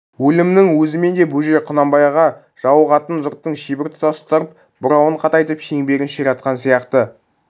өлімнің өзімен де бөжей құнанбайға жауығатын жұрттың шебін тұтастырып бұрауын қатайтып шеңберін ширатқан сияқты